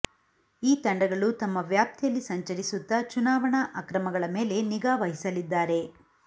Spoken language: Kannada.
ಈ ತಂಡಗಳು ತಮ್ಮ ವ್ಯಾಪ್ತಿಯಲ್ಲಿ ಸಂಚರಿಸುತ್ತಾ ಚುನಾವಣಾ ಅಕ್ರಮಗಳ ಮೇಲೆ ನಿಗಾ ವಹಿಸಲಿದ್ದಾರೆ